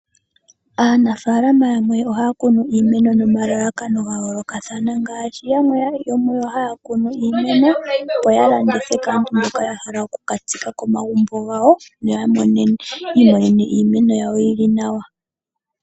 Aanafaalama yamwe ohaya kunu iimeno nomalalakano ga yoolokathana, ngaashi yamwe yomuyo haya kunu iimeno, opo ya landithe kaantu mboka ya hala oku ka tsika komagumbo gawo, yo yi imonene iimeno yawo yi li nawa.